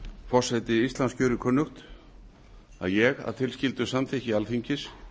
forseti íslands gjörir kunnugt að ég að tilskildu samþykki alþingis